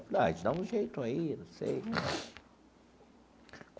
Eu falei ah, a gente dá um jeito aí, não sei.